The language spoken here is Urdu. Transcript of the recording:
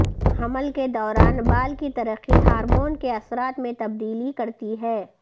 حمل کے دوران بال کی ترقی ہارمون کے اثرات میں تبدیلی کرتی ہے